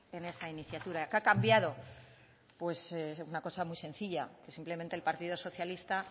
en esa iniciativa qué ha cambiado una cosa muy sencilla simplemente el partido socialista